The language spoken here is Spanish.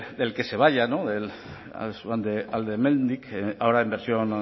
del que se vayan del alde hemendik ahora en versión